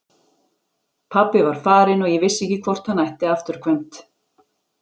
Pabbi var farinn og ég vissi ekki hvort hann ætti afturkvæmt.